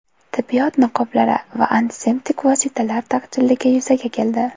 Tibbiyot niqoblari va antiseptik vositalar taqchilligi yuzaga keldi.